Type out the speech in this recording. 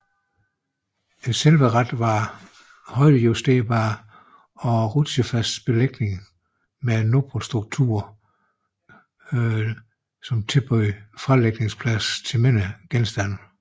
Selve rattet var højdejusterbart og en rutsjefast belægning med nopret struktur tilbød fralægningsplads til mindre genstande